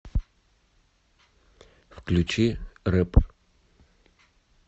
включи рэп